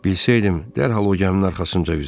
Bilsəydim, dərhal o gəminin arxasınca üzər.